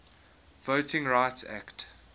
voting rights act